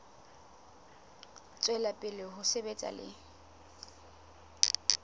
tswela pele ho sebetsa le